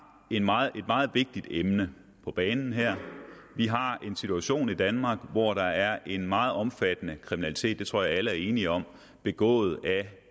et meget vigtigt emne på banen her vi har en situation i danmark hvor der er en meget omfattende kriminalitet det tror jeg alle er enige om begået af